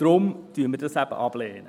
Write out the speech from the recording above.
Deshalb lehnen wir das eben ab.